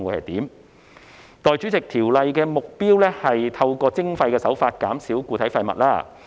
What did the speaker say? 代理主席，《條例草案》的目標是透過徵費減少固體廢物。